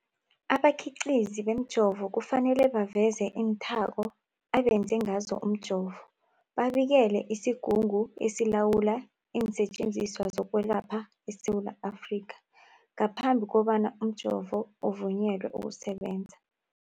Abakhiqizi bemijovo kufanele baveze iinthako abenze ngazo umjovo, babikele isiGungu esiLawula iinSetjenziswa zokweLapha eSewula Afrika ngaphambi kobana umjovo uvunyelwe ukusebenza.